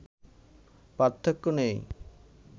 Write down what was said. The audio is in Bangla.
পার্থক্য নেই